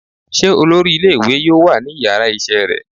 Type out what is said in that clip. se olorí ìlé-ìwé yọọ wa ní ìyára isé rẹ?